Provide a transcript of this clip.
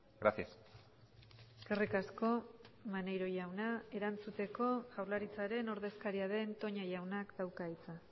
gracias eskerrik asko maneiro jauna erantzuteko jaurlaritzaren ordezkaria den toña jaunak dauka hitza